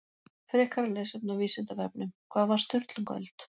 Frekara lesefni á Vísindavefnum Hvað var Sturlungaöld?